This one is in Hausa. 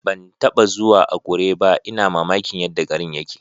Ban taba zuwa Akure ba, ina mamakin yadda garin yake.